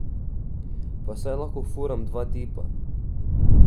Pa saj lahko furam dva tipa.